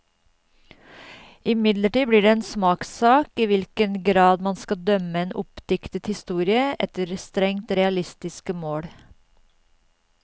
Imidlertid blir det en smakssak i hvilken grad man skal dømme en oppdiktet historie efter strengt realistiske mål.